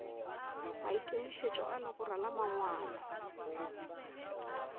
maikemišetšo a legora la mangwalo